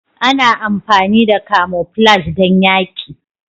Ana amfani da camoflage don yaƙi.